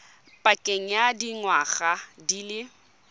pakeng ya dingwaga di le